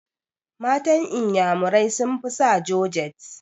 Matan inyamurai sun fi sa jorjet